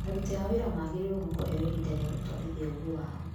Aruti a wĩra magĩrĩirwo nĩ kuheo ihindwa rĩa gũtwarithia ũgĩ wao.